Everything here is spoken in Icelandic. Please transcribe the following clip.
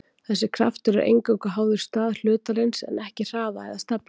þessi kraftur er eingöngu háður stað hlutarins en ekki hraða eða stefnu